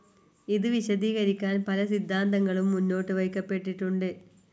ഇത് വിശദീകരിക്കാൻ പല സിദ്ധാന്തങ്ങളും മുന്നോട്ട് വയ്ക്കപ്പെട്ടിട്ടുണ്ട്.